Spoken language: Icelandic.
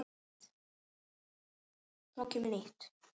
Svo kemur nýtt.